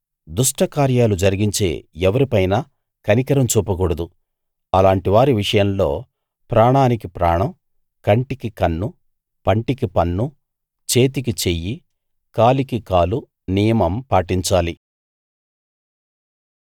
దుష్ట కార్యాలు జరిగించే ఎవరిపైనా కనికరం చూపకూడదు అలాంటివారి విషయంలో ప్రాణానికి ప్రాణం కంటికి కన్ను పంటికి పన్ను చేతికి చెయ్యి కాలికి కాలు నియమం పాటించాలి